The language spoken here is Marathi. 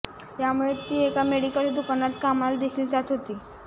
यामुळे ती एका मेडिकलच्या दुकानात कामाला देखील जात होती